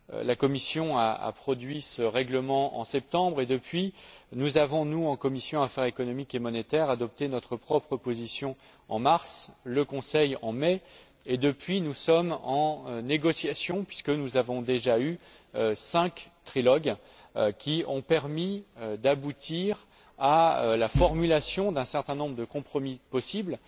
La Commission a produit ce règlement en septembre et depuis lors, nous avons nous, en commission des affaires économiques et monétaires, adopté notre propre position en mars, et le Conseil a adopté la sienne en mai et depuis, nous sommes en négociations, puisque nous avons déjà eu cinq trilogues qui ont permis d'aboutir à la formulation d'un certain nombre de compromis possibles.